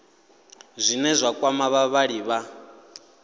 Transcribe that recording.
zwine zwa kwama vhavhali vha